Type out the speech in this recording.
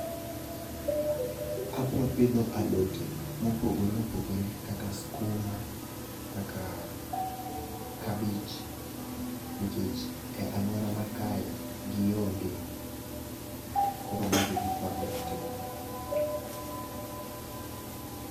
Abro pidho alote mopogore opogore kaka skuma, kaka kabich, nikech e alwora ma kae gionge. Koro mago e gik mabro timo.